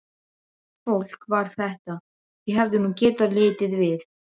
Undarlegt fólk var þetta, þau hefðu nú getað litið við!